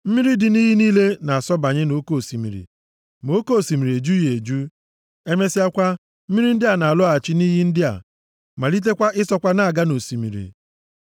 Mmiri dị nʼiyi niile na-asọbanye nʼoke osimiri ma oke osimiri ejughị eju. Emesịakwa, mmiri ndị a na-alọghachi nʼiyi ndị a, malitekwa ịsọkwa na-aga nʼosimiri.